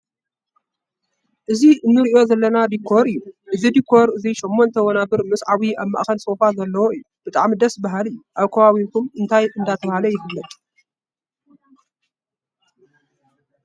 እዚ እንርእዮ ዘለና ዲኮር እዮ። እዚ ዲኮር እዙይ ሸሞንተ ወናበር ምስ ዓብይ ኣብ ማእከል ሶፋ ዘለዎ እዩ። ብጣዕሚ ደስ ባሃሊ እዩ። ኣብ ከባበቢኩም እንታይ እንዳተባሃለ ይፍለጥ?